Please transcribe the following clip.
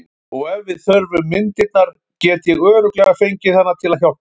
Og ef við þurfum myndirnar get ég örugglega fengið hana til að hjálpa okkur.